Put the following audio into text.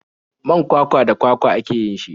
Man kwakwa da kwakwa ake yin shi.